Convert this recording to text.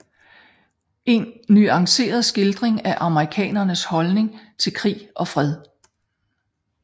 En nuanceret skildring af amerikanernes holdning til krig og fred